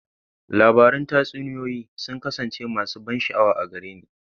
Labarun tatsuniyoyi sun kasance masu ban sha'awa a gare ni.